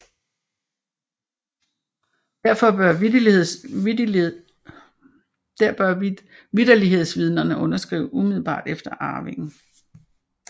Derfor bør vitterlighedsvidnerne underskrive umiddelbart efter arvingen